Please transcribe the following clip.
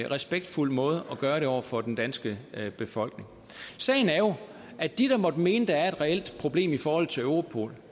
respektfuld måde at gøre det på over for den danske befolkning sagen er jo at de der måtte mene der er et reelt problem i forhold til europol